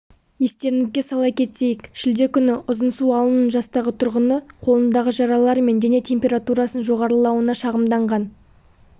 естеріңізге сала кетейік шілде күні ұзынсу ауылының жастағы тұрғыны қолындағы жаралар мен дене температурасының жоғарылауына шағымданған